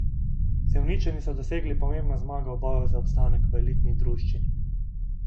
Sevničani so dosegli pomembno zmago v boju za obstanek v elitni druščini.